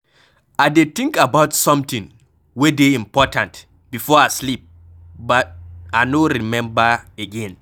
I dey think about something wey dey important before I sleep but I no remember again.